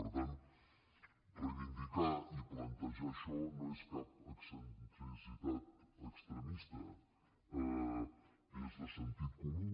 per tant reivindicar i plantejar això no és cap excentricitat extremista és de sentit comú